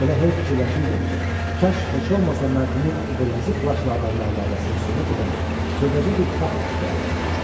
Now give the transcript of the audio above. Elə hey fikirləşirdim ki, kaş heç olmasa mərhumun o qırmızı plaşlı adamla əlaqəsini sübut edən xırdaca bir fakt aşkar olunaydı.